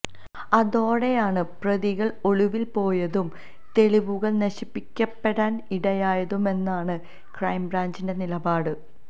അതോടെയാണ് പ്രതികള് ഒളിവിൽ പോയതും തെളിവുകള് നശിപ്പിക്കപ്പെടാൻ ഇടയായതുമെന്നാണ് ക്രൈംബ്രാഞ്ചിന്റെ നിലപാട്